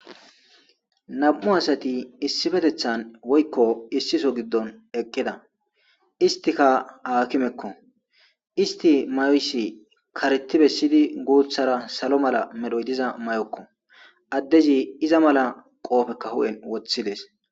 Nam'u assati issippetethan woykko issi soho giidon eqqida isstikka hakimeeko issti mayoysi karethi bessidi guththara sallo malla medhoy diiza mayokko addezi izza malla qoppeka huphen woththides.